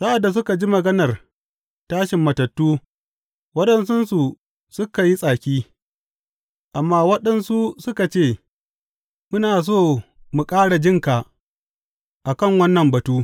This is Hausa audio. Sa’ad da suka ji maganar tashin matattu, waɗansunsu suka yi tsaki, amma waɗansu suka ce, Muna so mu ƙara jin ka a kan wannan batu.